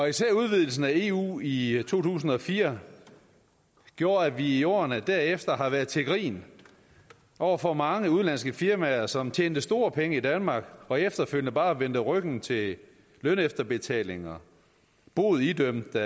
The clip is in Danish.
især udvidelsen af eu i tusind og fire har gjort at vi i årene derefter har været til grin over for mange udenlandske firmaer som har tjent store penge i danmark og efterfølgende bare har vendt ryggen til lønefterbetalinger bod idømt ved